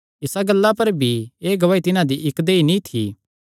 इसा गल्ला पर भी एह़ गवाही तिन्हां दी इक्क देहई नीं थी